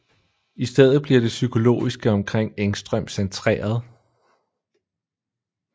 I stedet bliver det psykologiske omkring Engström centreret